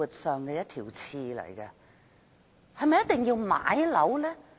是否一定要買樓呢？